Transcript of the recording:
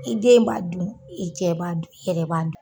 I den b'a dun, i cɛ b'a dun, i yɛrɛ b'a dun.